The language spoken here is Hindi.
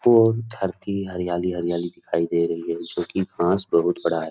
पूर्ण धरती हरियाली-हरियाली दिखाई दे रही है जो कि घास बहुत बड़ा है।